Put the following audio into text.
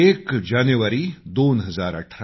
एक जानेवारी 2018